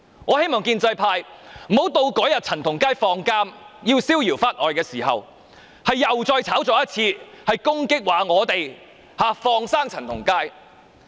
我希望建制派不要到陳同佳出獄，逍遙法外的時候，又再炒作一次，攻擊我們，說我們"放生"陳同佳。